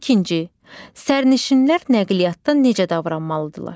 İkinci, sərnişinlər nəqliyyatda necə davranmalıdırlar?